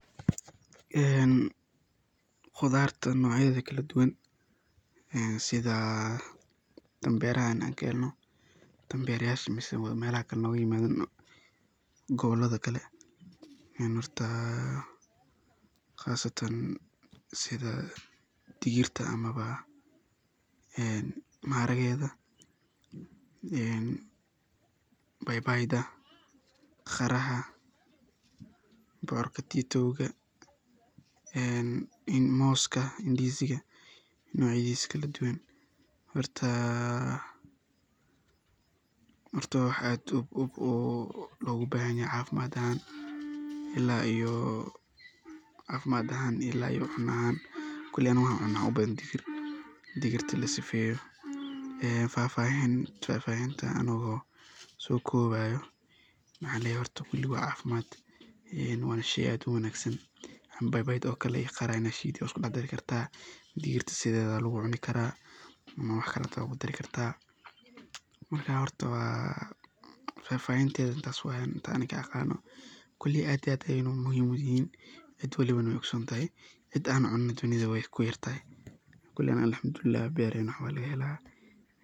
Khudarta nocyadeda kala duwan, tan berahean an kaleno sidha digirta ama maharageda , baibaida ,kharaha, bocor katiduda, moska ama ndiziga nocaydisa kaladuwan , een midhaha laga helo geedka papaya, waxaana sidoo kale loo yaqaanaa khudarta papaya ee aan weli bislaan. Waxaa si gaar ah loogu cuno meelo badan oo Afrika iyo Aasiya ah, iyadoo loo kariyo si la mid ah sida khudradda kale. Inkasta oo papaya bisil uu macaan yahay, kashaakee papai wuxuu leeyahay dhadhan u dhow khudaar, wuxuuna hodan ku yahay fiitamiina, fiberka, loo yaqaan papain oo gacan ka geysta dheefshiidka. Marka la karinayo, kashaakee papai waxaa inta badan la jarjaraa kadibna lagu kariyaa saliid, basal, yaanyo, iyo dhir udgoon. Waxaa sidoo kale laga sameeyaa suugada maraqyada, laga dhigaa curry, ama xitaa la shiilaa si fudud. Dadka qaar waxay ku daraan hilib ama kalluun si uu u noqdo cunto dhameystiran oo nafaqo leh. Koley anaga Alhamdulilahi berahena wax waa laga hela.